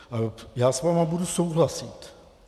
Já s vámi budu souhlasit.